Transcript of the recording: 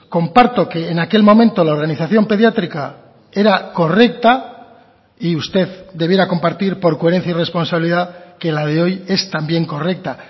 comparto que en aquel momento la organización pediátrica era correcta y usted debiera compartir por coherencia y responsabilidad que la de hoy es también correcta